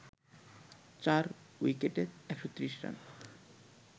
৪ উইকেটে ১৩০ রান